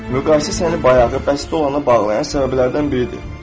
Müqayisə səni bayağı bəsit olana bağlayan səbəblərdən biridir.